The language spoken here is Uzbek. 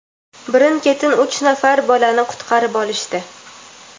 birin-ketin uch nafar bolani qutqarib olishdi.